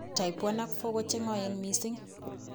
Type 1 ak 4 ko cheng'oen mising